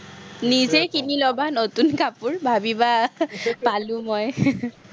নিজেই নতুন কাপোৰ, ভাৱিবা, পালো মই